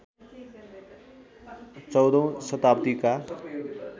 १४ औं शताब्दीका